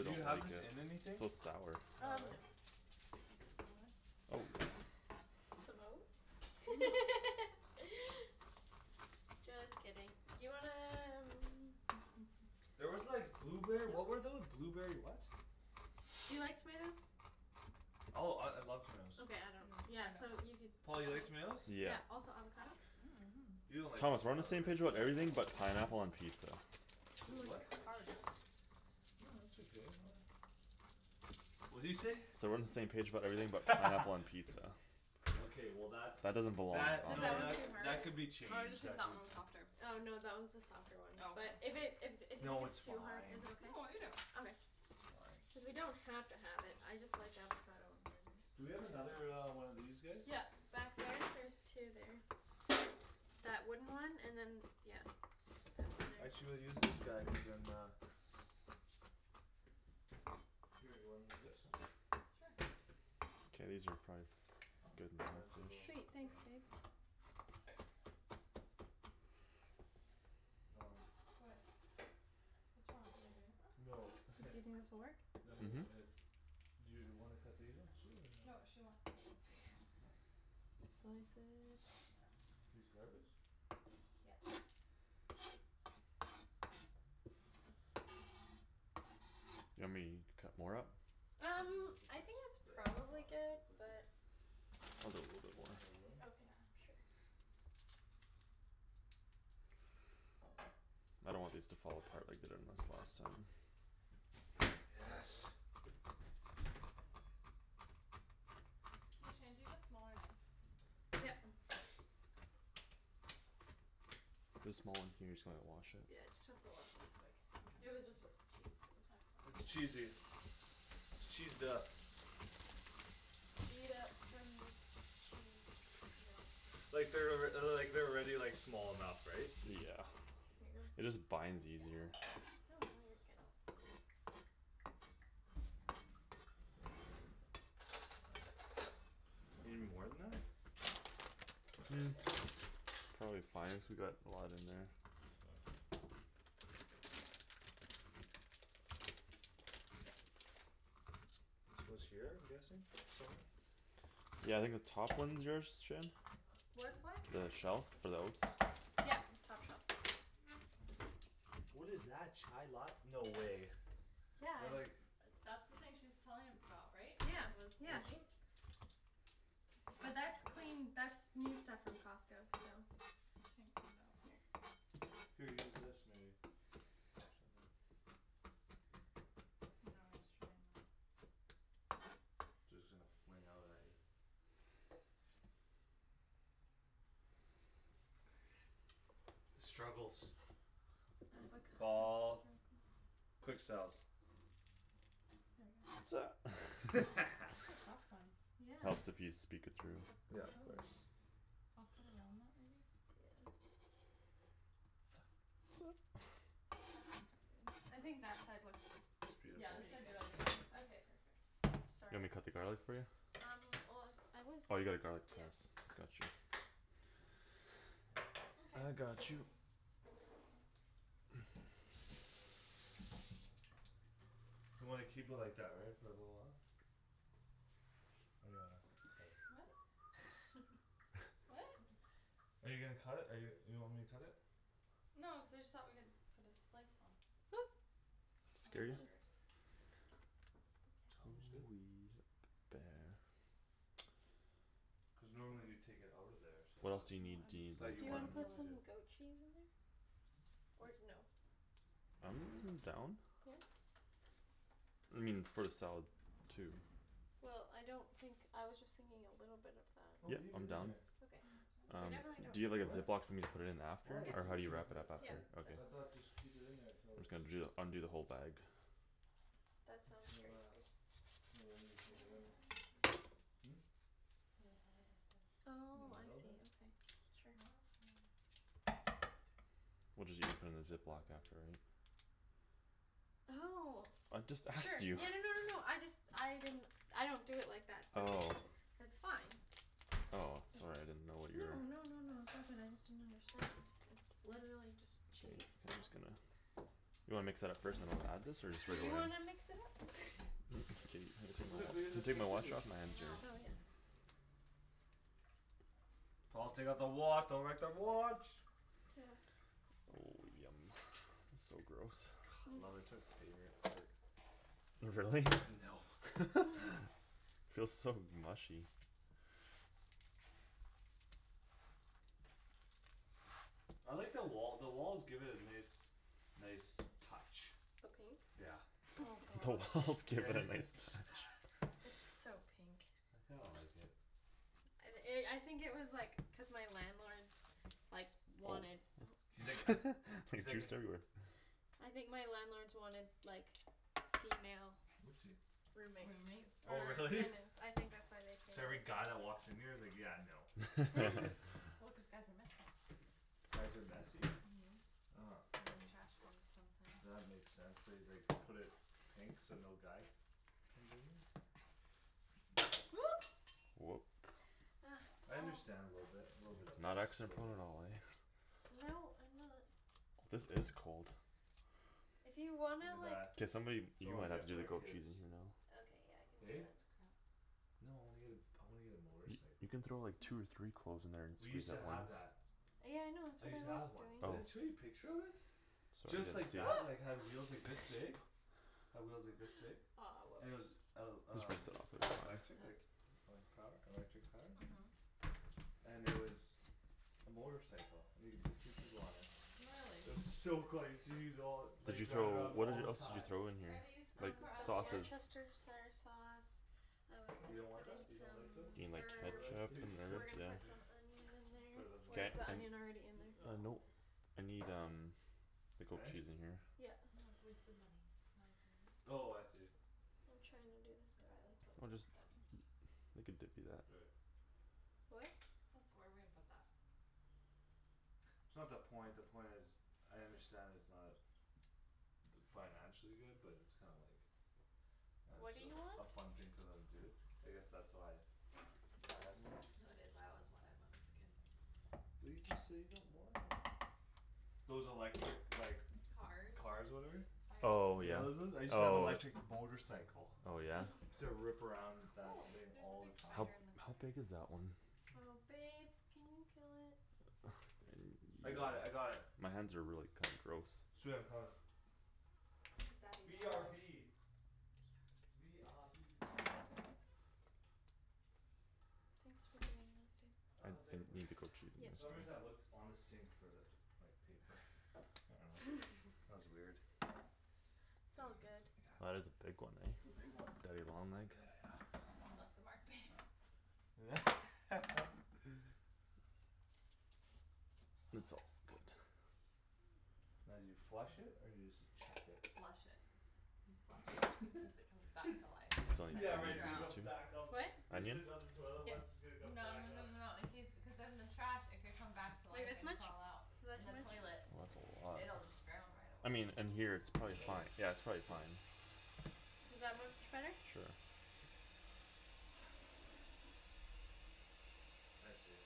Do you don't like have this it. in It's anything? so sour. No, Um no. right? Oh. Some oats? Just kidding. Do you wanna um There was like Do you blueberry, what were know? tho- blueberry what? Do you like tomatoes? Oh, I, I love tomatoes. Okay, I don't. Yeah, No, I so don't. you could Paul, you like tomatoes? Yeah. Yeah, also avocado? You don't like Thomas we're on the avocado, same Or, page right? about everything ooh, that's but so pineapple hard. on pizza. T- oh With my gosh. what? Hard. No, it's okay. Really? What'd you say? Said we're on the same page about everything but pineapple on pizza. Okay, well, that, That doesn't belong that, Is on that no, one that it. too c- hard? that could be Oh, I just changed think that that could be one was softer. Oh, no, that one's the softer one, Oh, but okay. If it, if d- if you think No, it's it's too hard, fine. is it okay? No, I'll eat it. Okay. It's fine. Cuz we don't have to have it. I just like avocado on burgers. Do we I do have another too. uh one of these guys? Yeah. Back there there's two there. That wooden one and then that d- yeah, that one there. Actually we'll use this guy cuz then uh Here, you wanna use this? Sure. K, these are probably good I'm doing so enough little. Sweet, ish. Yeah. thanks, babe. Um What? What's wrong? Am I doing it wrong? No Do you think this will work? No, he already did Mhm. his. Do you wanna cut these ones too or no? No, she wants these ones like that. Oh. Slice it. These garbage? Yes. You want me to cut more up? I'm Um, gonna put I this, think that's the end probably product good we'll put here. but Can you I'll do move? a little bit Give more. us more room? Yeah. Okay, sure. I don't want these to fall apart like they did on us last time. Yes. Hey, Shan, do you have a smaller knife? Yep. There's a small one here, you just gonna wash it? Yeah, just have to wash this quick. It Mkay. was just with cheese, so. That's It's fine. cheesy. It's cheesed up. Gee it up from the Chee Like they're alrea- uh the, like, they're already like, small enough, right? Yeah. Here you go. It just binds easier. No, no, you're good. You need more than that? Probably fine cuz we got a lot in there. This goes here? I'm guessing? Somewhere? Yeah, I think the top one's yours, Shan? What's what? The shelf for the oats? Yep. Top shelf. What is that? Chai lat- no way. They're Yeah like That's the thing she was telling about, right? Yeah, That was yeah. Which moldy? But that's clean, that's new stuff from Costco, so. I can't get it out. Here. Here, use this maybe. Or something. No, I was trying that. Just gonna fling out at you. The struggles. Avocado Paul. struggles. Quick selves. That's a tough one. Yeah. Helps if you speak it through. Yeah, of Oh, course. I'll cut around that maybe. Yeah. Okay. I think that side looks It's Yeah, beautiful. this pretty side's good really good. anyways. Okay, perfect. Oops, You sorry. want me to cut the garlic for you? Um well, I was, Oh, you got a garlic yeah. press. Gotcha. Mkay. I got you. You wanna keep it like that, right? For a little while? Or do you wanna cut it? What? I What? dunno. Are you gonna cut it? Or you, you want me to cut it? No, I just thought we could put this slice on. Oop. On our Scare you? Hey burgers. I Tom guess. is good. T- Cuz normally you'd take it out of there so I What else thought, Well, do you need, do I'm you I need, just thought telling like Do you you you wanna wanted to me put kill to it. do some goat cheese in there? Or no? I'm down. I mean, it's for the salad too. Well, I don't think, I was just thinking a little bit of that. Oh, Yep, leave it I'm in down. there. I Okay. mean, it's fine We I'll Um, definitely don't just do it. do you have, like, a What? Ziploc for me to put it in after? Why? Or It's how do you easier wrap if Yep. it it up uh after? it Yep. Okay. I So cool. thought just keep it in there I'm until just it's gonna ju the, undo the whole bag. That sounds Until great, uh babe. We're ready to It's really take it hard out. right there. Hmm? It's really hard right there. In the Oh, I middle see, there? okay, sure. Okay. We'll, just use it from And the chuck Ziploc that maybe. after, right? Oh I just sure, asked you. yeah, no no no no, I just, I didn't I don't do it like that but it's Oh. That's fine. Oh, sorry I didn't know It's what no your no no no no, it's all good. I just didn't understand; it's literally just K, cheese, I'm so. just gonna. You wanna mix that up first then I'll add this or just Do right you away? wanna mix it up? Babe, have to take my Look, watch, we do can the you take same my too. watch off? My I hands know. are Oh, yeah. dirty. Paul, take off the wa- don't wreck the watch. Oh, yummy. So gross. Love i- it's my favorite part. Really? No. Feels so mushy. I like the wall, the walls give it a nice Nice touch. The pink? Yeah. Oh The gosh. walls give it a nice touch. It's so pink. I kinda like it. And i- I think it was, like, cuz my landlords Like, Oh. wanted, oh He's like He's He's like a juiced everywhere. I think my landlords wanted, like, female Oopsie Roommates. Roommate? Oh Or really? tenants. I think that's why they painted So every it guy that pink. walks in here is like, "Yeah, no." Right? Well, cuz guys are messy. Guys are messy? Mhm, and they trash things sometimes. That makes sense; so he's, like, put it Pink? So no guy comes in here? Oop. Whoop. Ugh, I Paul. understand a little bit, a little bit of Not it, just a accident little prone at bit. all, eh? No, I'm not. This is cold. If you Look wanna, at like that. K, somebody, you Someone might get have it to for do the our goat kids. cheese in here though. Okay, yeah, I can do Eh? that. No, I wanna get a, I wanna get a Y- motorcycle. you can throw, like, No. two or three cloves in there and We used squeeze That's to at have once. that. Yeah, I know, it's I what I used to was have one. doing. Did Oh. I show you a picture of it? Sorry, Just didn't like see. that, like, had wheels, like, this big. Had wheels like this No. Aw, big. And it was oops. el- We should rinse it off, um like, - right now. lectric? Okay Like, like, power, electric powered? Mhm. And it was a motorcycle and you could fit two people on it. Really? It was so cool I used to use it all, Did like, you throw, drive it around what all did, the else did you time. throw in Are here? these Like for Um us, the Shan? sausage worcestershire sauce. I was You gonna don't want put that? in You don't like those? some You mean like herbs. Motorized ketchup things and We're herbs, gonna yeah. put some onion in For there them to or is drive? the onion already in there? Uh, No, nope, it's I need um The goat Huh? cheese in here. Yeah. No, it's a waste of money, Anthony. Oh I see. I'm trying to do this You buy them garlic. clothes We'll just instead. We could dip you that. Do it. What? This, where are we gonna put that? It's not the point; the point is I understand it's not d- Financially good but it's kinda like Uh What do you just want? a f- a fun thing for them to do. I guess that's why I had one. No, it is, I always wanted one as a kid. But you just said you don't want it. Those electric, like Cars. Cars whatever? I Oh, alw- You yeah, know those ones? I used to have oh. electric motorcycle. Oh, yeah? Used to rip around that Oh, thing there's a all big the How, time. spider in the how corner. big is that one? Oh babe, can you kill it? I got it. I got it. My hands are really kinda gross. Sweet, I'm coming. The daddy B R long B. legs. B R B. Thanks for doing that, babe. I I, was like, I "Where" need the goat cheese in there Yep. For some soon. reason I looked on the sink for that, like, paper. I dunno. That was weird. - t's I all good. That got. is a big one, It's eh? a big one. Daddy long leg. Yeah, yeah. You left a mark, babe. It's all good. Now do you flush it or do you just chuck it? Flush it. You flush. Cuz it comes back It's, to life if So like onion in left yeah, like it's gonna there, come drowned. too? back up. What? You're Onion? sitting on the toilet Yes. what's, it's gonna come No no back no up. no no, in case, cuz then the trash, it could come back to Like life this and much? crawl out. Is In that the too much? toilet Oh, that's a lot. it'll just drown right I away. mean in here it's probably Oh fi- yeah, shoot. it's probably fine. Is that much better? Sure. I see.